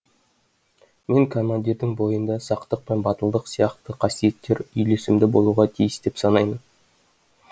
мен командирдің бойында сақтық пен батылдық сияқты қасиеттер үйлесімді болуға тиіс деп санаймын